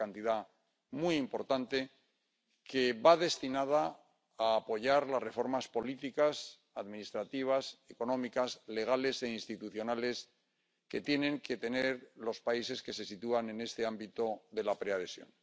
Es una cantidad muy importante, que va destinada a apoyar las reformas políticas, administrativas, económicas, legales e institucionales que tienen que tener los países que se sitúan en este ámbito de la preadhesión.